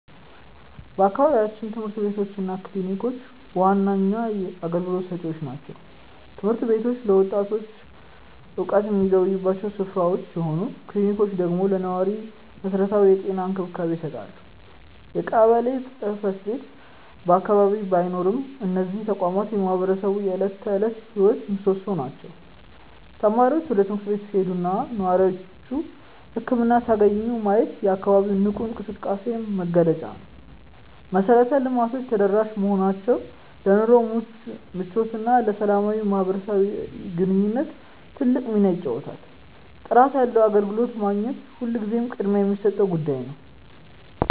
በአካባቢያችን ትምህርት ቤቶች እና ክሊኒኮች ዋነኛ አገልግሎት ሰጪዎች ናቸው። ትምህርት ቤቶቹ ለወጣቱ እውቀት የሚገበዩባቸው ስፍራዎች ሲሆኑ፣ ክሊኒኮቹ ደግሞ ለነዋሪው መሰረታዊ የጤና እንክብካቤ ይሰጣሉ። የቀበሌ ጽሕፈት ቤት በአቅራቢያ ባይኖርም፣ እነዚህ ተቋማት የማህበረሰቡ የዕለት ተዕለት ሕይወት ምሶሶዎች ናቸው። ተማሪዎች ወደ ትምህርት ቤት ሲሄዱና ነዋሪዎች ህክምና ሲያገኙ ማየት የአካባቢው ንቁ እንቅስቃሴ መገለጫ ነው። መሰረተ ልማቶቹ ተደራሽ መሆናቸው ለኑሮ ምቾትና ለሰላማዊ ማህበራዊ ግንኙነት ትልቅ ሚና ይጫወታሉ። ጥራት ያለው አገልግሎት ማግኘት ሁልጊዜም ቅድሚያ የሚሰጠው ጉዳይ ነው።